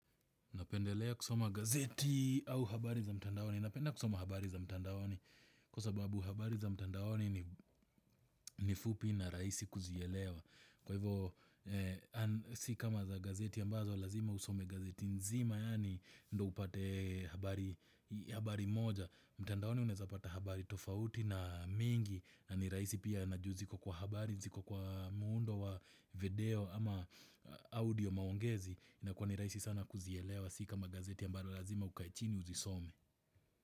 Napendelea kusoma gazeti au habari za mtandaoni. Napenda kusoma habari za mtandaoni kwa sababu habari za mtandaoni ni fupi na rahisi kuzielewa. Kwa hivyo si kama za gazeti ambazo lazima usome gazeti nzima yaani ndio upate habari moja. Mtandaoni unaeza pata habari tofauti na mingi na ni rahisi pia na juu ziko kwa habari, ziko kwa muundo wa video ama audio maongezi inakuwa ni rahisi sana kuzielewa si kama gazeti ambalo lazima ukae chini uzisome.